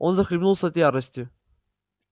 он захлебнулся от ярости